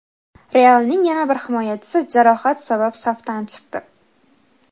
"Real"ning yana bir himoyachisi jarohat sabab safdan chiqdi.